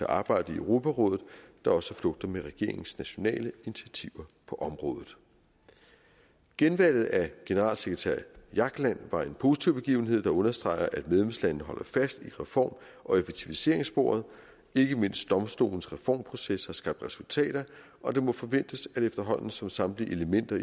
arbejde i europarådet der også flugter med regeringens nationale initiativer på området genvalget af generalsekretær jagland var en positiv begivenhed der understreger at medlemslandene holder fast i reform og effektiviseringssporet ikke mindst domstolens reformproces har skabt resultater og det må forventes at efterhånden som samtlige elementer